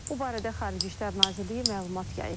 Bu barədə Xarici İşlər Nazirliyi məlumat yayıb.